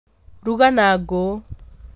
Ruga na ngũ